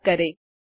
type करें